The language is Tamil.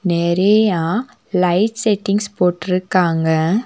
நெறைய லைட் செட்டிங்ஸ் போட்டிருக்காங்க.